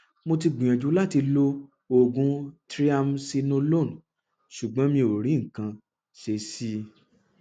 mo ti gbìyànjú láti lo oògùn triamcinolone ṣùgbọn mi ò rí nǹkan ṣe sí i